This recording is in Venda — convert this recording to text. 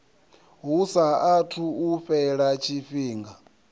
hu saathu u fhela tshifhinga